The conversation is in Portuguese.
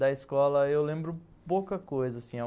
da escola, eu lembro pouca coisa assim